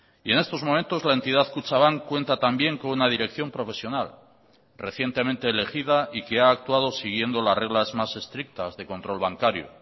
y en estos momentos la entidad kutxabank cuenta también con una dirección profesional recientemente elegida y que ha actuado siguiendo las reglas más estrictas de control bancario